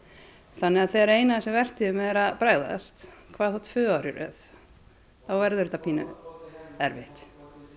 þannig að þegar að ein af þessum vertíðum er að bregðast hvað þá tvö ár í röð þá verður þetta pínu erfitt